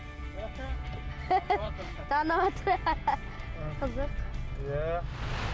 таныватсыр қызық иә